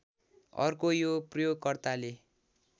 अर्को यो प्रयोगकर्ताले